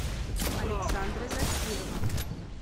александра закирова